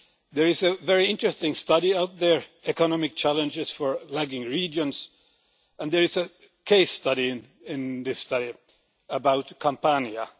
There is a very interesting study out there Economic Challenges of Lagging Regions', and there is a case study in that study about Campania.